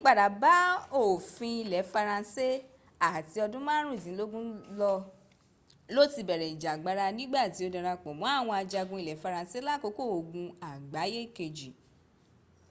àyípadà bá òfin ilẹ faransé à ti ọdún márùndínlógún ló ti bẹ̀rẹ̀ ìjàgbara nígbà tí ó darápọ̀ mọ́ àwọn ajagun ilẹ̀ faransé lákòókò ogun àgbáyé kejì